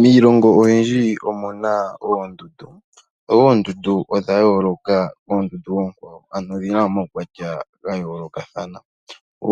Miilongo oyindji omuna oondundu, oondundu odha yooloka koondundu onkwawo, ano odhina omaukwatya ga yoolokathana.